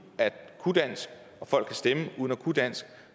at kunne dansk og folk kan stemme uden at kunne dansk